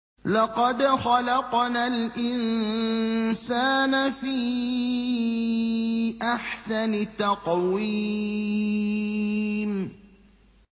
لَقَدْ خَلَقْنَا الْإِنسَانَ فِي أَحْسَنِ تَقْوِيمٍ